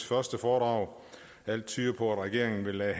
første foredrag alt tyder på at regeringen vil lade